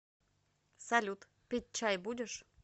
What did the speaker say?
салют пить чай будешь